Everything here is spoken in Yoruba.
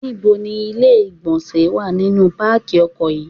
Ní bo ni ilé ìgbọ̀nsẹ̀ wà nínú pákí ọkọ̀ yí?